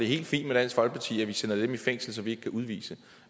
helt fint med dansk folkeparti at vi sætter dem i fængsel som vi ikke kan udvise